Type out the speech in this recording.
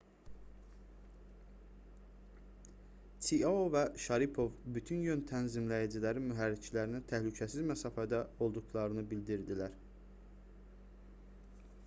çiao və şaripov bütün yön tənzimləyiciləri mühərriklərinə təhlükəsiz məsafədə olduqlarını bildirdilər